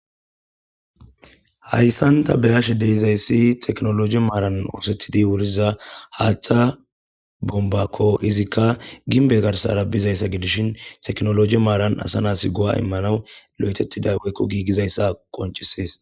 Haysan ta beyashe de'izaysi tekinoloje maran othetidi wuriza hatha bombako izzika gimbe garsara bizaysa gidishin tekinoloje maran asa nas go'a imanas othetida woykon gigizaysa qoncises